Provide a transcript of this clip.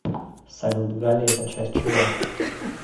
салют галлий это часть чего